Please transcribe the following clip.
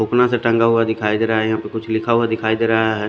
उपना सी टंगा हुआ दिखाई देरा है यहा पे कुछ लिखा हुआ दिखाई देरा है।